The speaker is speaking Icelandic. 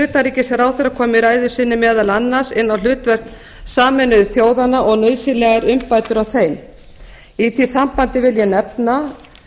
utanríkisráðherra kom í ræðu sinni meðal annars inn á hlutverk sameinuðu þjóðanna og nauðsynlegar umbætur á þeim í því sambandi vil ég nefna